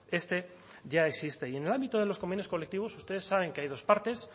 este ya existe y en el ámbito de los convenios colectivos ustedes saben que hay dos partes